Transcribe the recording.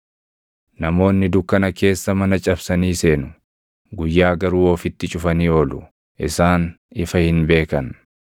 Namoonni dukkana keessa mana cabsanii seenu; guyyaa garuu ofitti cufanii oolu; isaan ifa hin beekan.